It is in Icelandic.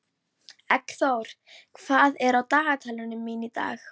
Eggþór, hvað er á dagatalinu mínu í dag?